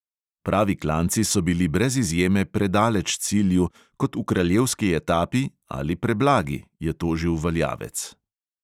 "Pravi klanci so bili brez izjeme predaleč cilju, kot v kraljevski etapi ali preblagi," je tožil valjavec.